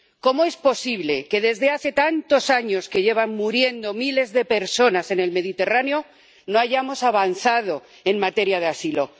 ¿Cómo es posible que desde hace tantos años que llevan muriendo miles de personas en el Mediterráneo no hayamos avanzado en materia de asilo?